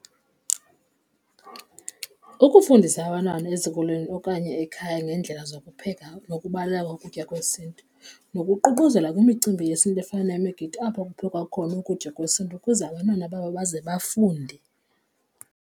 Ukufundisa abantwana ezikolweni okanye ekhaya ngeendlela zokupheka nokubaluleka ukutya kwesiNtu nokuququzela kwimicimbi yesiNtu efana nemigidi apho kuphekwa khona ukutya kwesiNtu ukuze abantwana babo baze bafunde.